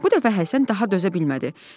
Bu dəfə Həsən daha dözə bilmədi.